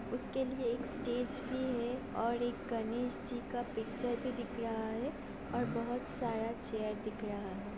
उसके लिए एक स्टेज भी है और एक गणेश जी का पिक्चर भी दिख रहा है और बहुत सारा चेयर दिख रहा है।